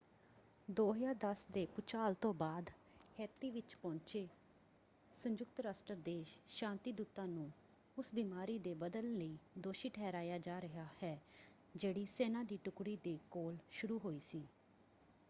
2010 ਦੇ ਭੂਚਾਲ ਤੋਂ ਬਾਅਦ ਹੈਤੀ ਵਿੱਚ ਪਹੁੰਚੇ ਸੰਯੁਕਤ ਰਾਸ਼ਟਰ ਦੇ ਸ਼ਾਂਤੀਦੂਤਾਂ ਨੂੰ ਉਸ ਬਿਮਾਰੀ ਦੇ ਵਧਣ ਲਈ ਦੋਸ਼ੀ ਠਹਿਰਾਇਆ ਜਾ ਰਿਹਾ ਹੈ ਜਿਹੜੀ ਸੈਨਾ ਦੀ ਟੁਕੜੀ ਦੇ ਕੋਲ ਸ਼ੁਰੂ ਹੋਈ ਸੀ।